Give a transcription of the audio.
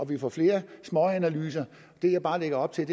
vi får flere småanalyser det jeg bare lagde op til